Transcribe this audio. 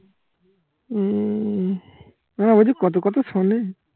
উম না ও যে কত কথা শুনে